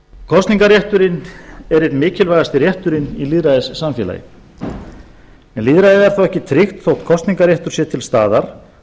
er einn mikilvægasti rétturinn í lýðræðissamfélagi en lýðræði er þó ekki tryggt þótt kosningarréttur sé til staðar